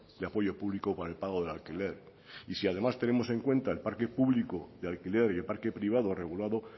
de apoyo público por el pago de alquiler y si además tenemos en cuenta el parque público de alquiler y el parque privado regulado